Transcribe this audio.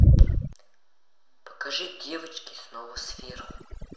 покажи девочки снова сверху